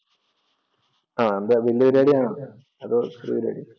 ആ